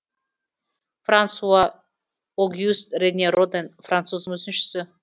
франсуа огюст рене роден француз мүсіншісі